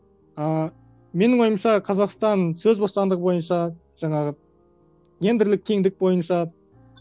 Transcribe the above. ы менің ойымша қазақстан сөз бостандығы бойынша жаңағы гендрлік теңдік бойынша